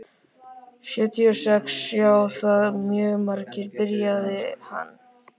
Sjötíu og sex sjá það mjög margir, byrjaði hann.